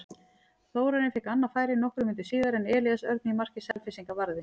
Þórarinn fékk annað færi nokkrum mínútum síðar en Elías Örn í marki Selfyssinga varði.